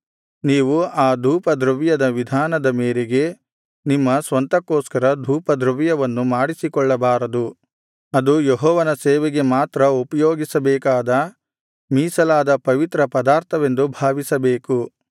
ನೀವು ಆ ಧೂಪದ್ರವ್ಯದ ವಿಧಾನದ ಮೇರೆಗೆ ನಿಮ್ಮ ಸ್ವಂತಕ್ಕೋಸ್ಕರ ಧೂಪದ್ರವ್ಯವನ್ನು ಮಾಡಿಸಿಕೊಳ್ಳಬಾರದು ಅದು ಯೆಹೋವನ ಸೇವೆಗೆ ಮಾತ್ರ ಉಪಯೋಗಿಸಬೇಕಾದ ಮೀಸಲಾದ ಪವಿತ್ರ ಪದಾರ್ಥವೆಂದು ಭಾವಿಸಬೇಕು